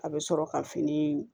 A bɛ sɔrɔ ka fini